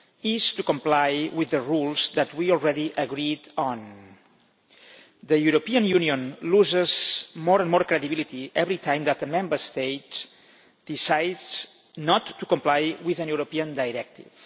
is compliance with the rules that we have already agreed on. The European Union loses more and more credibility every time that the Member States decide not to comply with a European directive.